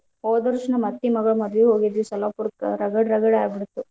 ಹೋದ ವರ್ಷ್ ನಮ್ಮ್ ಅತ್ತಿ ಮಗಳ್ ಮದ್ವಿಗ್ ಹೋಗಿದ್ವಿ ಸೊಲ್ಲಾಪುರಕ್ ರಗಡ್ ರಗಡ್ ಆಗಿಹೋತ.